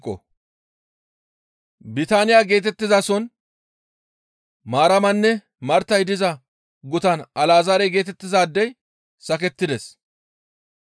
Bitaaniya geetettizason Maaramanne Martay diza gutan Alazaare geetettizaadey sakettides.